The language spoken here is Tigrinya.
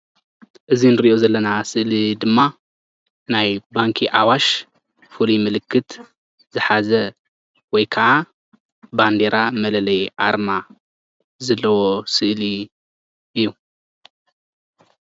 እዚ እንሪኦ ዘለና ስእሊ ድማ ናይ ባንኪ ኣዋሽ ፍሉይ ምልክት ዝሓዘ ወይ ከዓ ባንዴራ መለለይ ኣርማ ዘለዎ ስእሊ እዩ፡፡